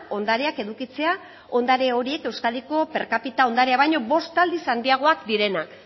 ondareak edukitzea ondare horiek euskadiko per kapita ondarea baino bost aldiz handiagoak direnak